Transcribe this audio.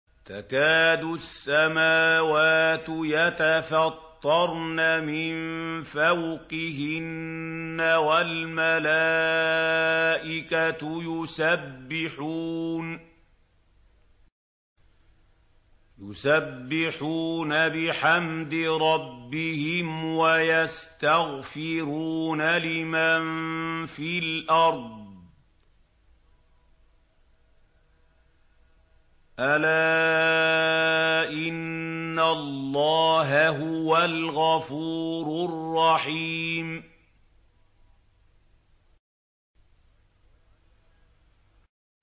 تَكَادُ السَّمَاوَاتُ يَتَفَطَّرْنَ مِن فَوْقِهِنَّ ۚ وَالْمَلَائِكَةُ يُسَبِّحُونَ بِحَمْدِ رَبِّهِمْ وَيَسْتَغْفِرُونَ لِمَن فِي الْأَرْضِ ۗ أَلَا إِنَّ اللَّهَ هُوَ الْغَفُورُ الرَّحِيمُ